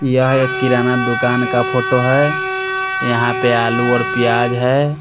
यह एक किराना दुकान का फोटो है यहां पे आलू और प्याज है।